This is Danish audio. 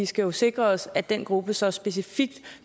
skal sikre os at den gruppe så specifikt